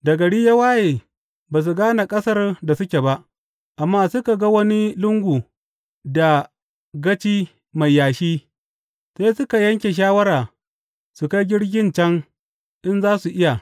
Da gari ya waye, ba su gane ƙasar da suke ba, amma suka ga wani lungu da gaci mai yashi, sai suka yanke shawara su kai jirgin can in za su iya.